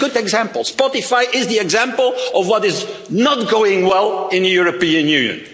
Union. It's a good example Spotify is the example of what is not going well in the European